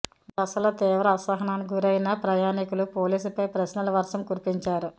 ఒక దశలో తీవ్ర అసహనానికి గురైన ప్రయాణికులు పోలీసుపై ప్రశ్నల వర్షం కురిపించారు